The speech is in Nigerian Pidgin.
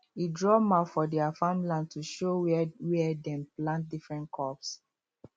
he draw map for their farm land to show where where dem plant different crops